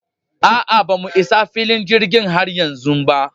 A'a bamu Isa filin jirgin har yanzu ba